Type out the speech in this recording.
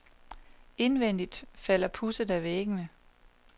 Indvendigt falder pudset af væggene.